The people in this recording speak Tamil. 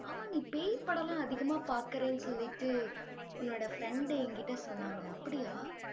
ஆமா, நீ பேய் படம் எல்லாம் அதிகமா பாக்குறேன்னு சொல்லிட்டு உன்னோட friend என்கிட்ட சொன்னாங்க அப்படியா?